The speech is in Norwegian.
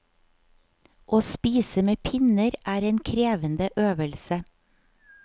Å spise med pinner er en krevende øvelse.